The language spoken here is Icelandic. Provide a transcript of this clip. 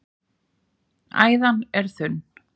æðan er þunn